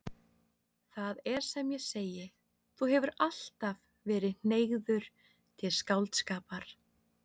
Það er sem ég segi: Þú hefur alltaf verið hneigður til skáldskapar.